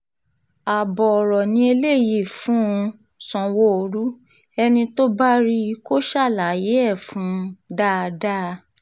ààbọ̀ ọ̀rọ̀ ni eléyìí fún um sanwóoru ẹni tó bá rí i kó ṣàlàyé ẹ̀ fún un um dáadáa